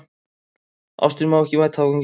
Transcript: Ástin má ekki mæta afgangi.